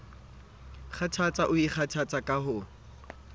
kgathatse o ikgothatsa ka ho